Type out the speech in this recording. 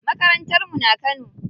Makarantar mu na Kano.